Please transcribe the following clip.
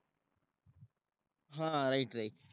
हा right right